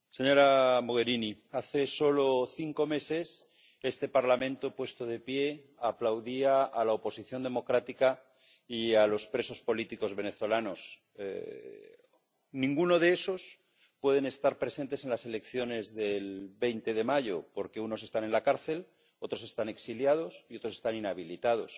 Señora presidenta, señora Mogherini, hace solo cinco meses este Parlamento, puesto de pie, aplaudía a la oposición democrática y a los presos políticos venezolanos. Ninguno de ellos puede estar presente en las elecciones del 20 de mayo, porque unos están en la cárcel, otros están exiliados y otros están inhabilitados.